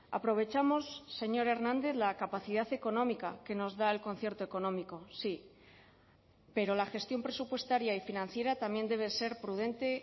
aprovechamos señor hernández la capacidad económica que nos da el concierto económico sí pero la gestión presupuestaria y financiera también debe ser prudente